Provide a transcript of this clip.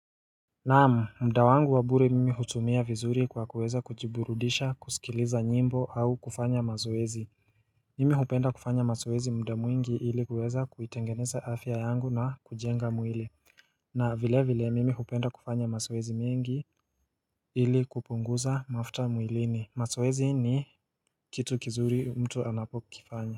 Naamu mda wangu wabure mimi hutumia vizuri kwa kuweza kujiburudisha kusikiliza nyimbo au kufanya mazoezi Mimi hupenda kufanya mazoezi mda mwingi ili kuweza kuitengeneza afya yangu na kujenga mwili na vile vile mimi hupenda kufanya mazoezi mingi ili kupunguza mafuta mwilini mazoezi ni kitu kizuri mtu anapo kifanya.